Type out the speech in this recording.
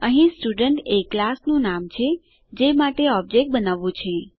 અહીં સ્ટુડન્ટ એ ક્લાસ નું નામ છે જે માટે ઓબજેક્ટ બનાવવું છે